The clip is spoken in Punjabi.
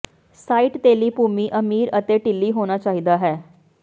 ਸਾਈਟ ਤੇਲੀ ਭੂਮੀ ਅਮੀਰ ਅਤੇ ਢਿੱਲੀ ਹੋਣਾ ਚਾਹੀਦਾ ਹੈ